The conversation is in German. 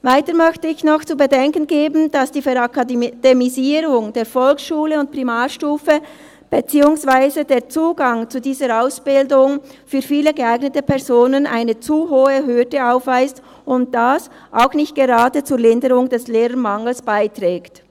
Weiter möchte ich noch zu bedenken geben, dass die «Verakademisierung» der Volksschule und Primarstufe, beziehungsweise der Zugang zu dieser Ausbildung für viele geeignete Personen eine zu hohe Hürde aufweist und dies auch nicht gerade zur Linderung des Lehrermangels beiträgt.